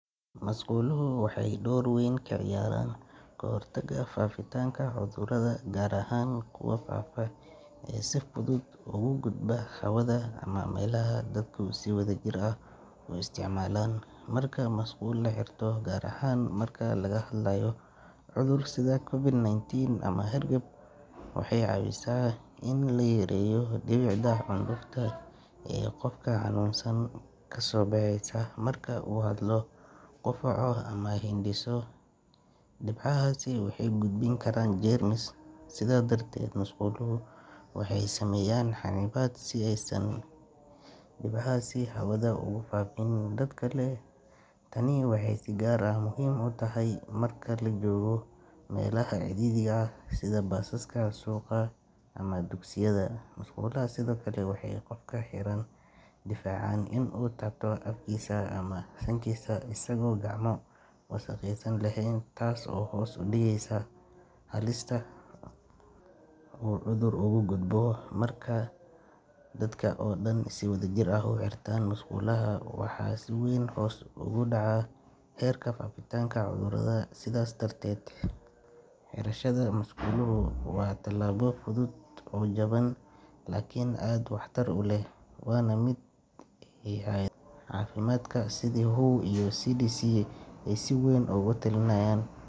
Musquluhu waxa dor weyn kaciyaraan kahortaga cudurada faafaa ee si fudud ogugudba hawada ama melaha dadka si wen oguisticmalan, marka masquul gaar aha marki lagahadlayo cudur sidha covic 19 ama hergeb, waxay cawisa in layareyo ee gofka hanunsan marka uu hadlo gofka ama hindiso dibcahasi waxay gudbini karaan jermis sidha darted musqulaha waxay sameyaan si aysan dibcahasi habada ogufafin dad kale taani waxay si gaar ah muxiim ogutahay marka lajogo melaha ciririga ah sid basaska suqaa ama dugsiyada, musqulaha sidhokale waxay gofka kadifacan gofka ini cudurka dankisa isago gacmaha wasaqeysan lehen, taas oo hos udigeysa halista oo cudur ogugudbo, dadka oo dan si wadajir musqulaha waxa si wen ogudaca herka, sidas darded muaquluhu wa talabo fudud oo faido badan lakin wahtar uleh iyo lamid ah si wen ogutarman.